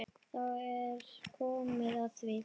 Þá er komið að því.